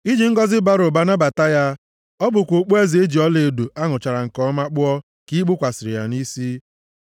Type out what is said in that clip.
I ji ngọzị bara ụba nabata ya, ọ bụkwa okpueze e ji ọlaedo a ṅụchara nke ọma kpụọ ka i kpukwasịrị ya nʼisi.